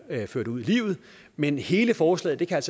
ført ud i livet men hele forslaget kan